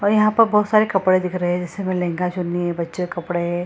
और यहाँ पर बहुत सारे कपड़े दिख रहे हैं इसमें लहंगा चुन्नी बच्चो के कपड़े।